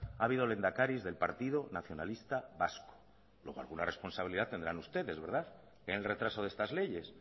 ha habido lehendakaris del partido nacionalista vasco luego alguna responsabilidad tendrán ustedes en el retraso de estas leyes